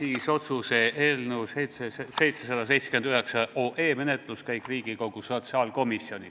Niisiis, otsuse eelnõu 779 menetluskäik Riigikogu sotsiaalkomisjonis.